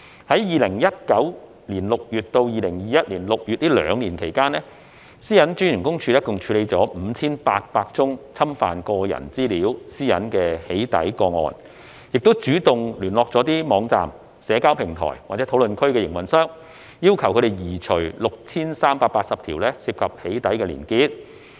在2019年6月至2021年6月這兩年期間，個人資料私隱專員公署共處理 5,800 宗侵犯個人資料私隱的"起底"個案，亦主動聯絡網站、社交平台或討論區的營運商，要求移除 6,380 條涉及"起底"的連結。